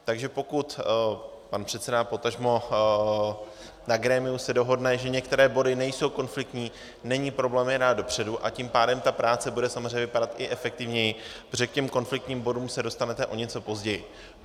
Takže pokud pan předseda, potažmo na grémiu se dohodne, že některé body nejsou konfliktní, není problém je dát dopředu, a tím pádem ta práce bude samozřejmě vypadat i efektivněji, protože k těm konfliktním bodům se dostanete o něco později.